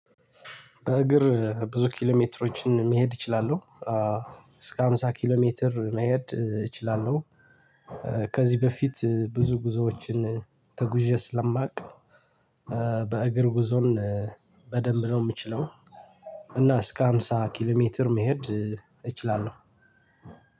በእግር ብዙ ኪሎ ሜትሮችን መሄድ እችላለሁ። እስከ ሃምሳ ኪሎ ሜትር መሄድ እችላለሁ። ከዚህ በፊት ብዙ ጉዞዎችን ተጉዤ ስለማውቅ በእግር ጉዞን በደንብ ነው የምችለው። እና እስከ ሃምሳ ኪሎ ሜትር መሄድ እችላለሁ።